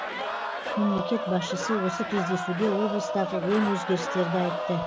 мемлекет басшысы осы кездесуде облыстағы оң өзгерістерді айтты